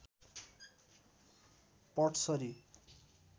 पडसरी